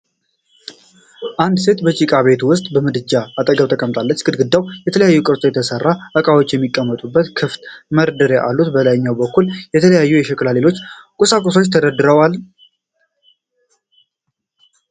አንድ ሴት በጭቃ ቤት ውስጥ ከምድጃ አጠገብ ተቀምጣለች። ግድግዳው በተለያየ ቅርጽ የተሠሩ ዕቃዎች የሚቀመጡበት ክፍት መደርደሪያዎች አሉት። በላይኛው በኩል የተለያዩ የሸክላና ሌሎች ቁሳቁሶች ተደርድረዋልን?